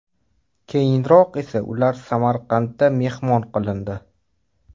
Keyinroq esa ular Samarqandda mehmon qilindi.